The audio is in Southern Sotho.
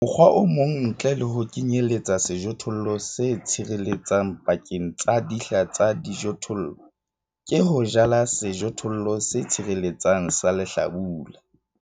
Mokgwa o mong ntle le ho kenyeletsa sejothollo se tshireletsang pakeng tsa dihla tsa dijothollo, ke ho jala sejothollo se tshireletsang sa lehlabula.